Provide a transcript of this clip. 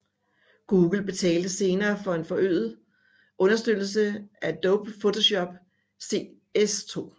Google betalte senere for en forøget understøttelse af Adobe Photoshop CS2